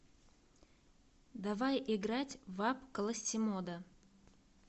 давай играть в апп классимодо